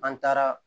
An taara